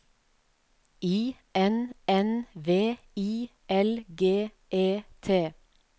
I N N V I L G E T